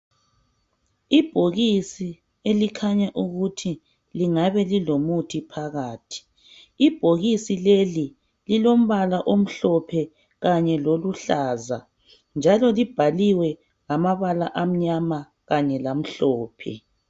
Ibhokisi elikhanya ukuthi lingabe lilomuthi phakathi ibhokisi leli lilombala omhlophe kanye loluhlaza njalo libhaliwe ngabala amnyama kanye lamhlophe.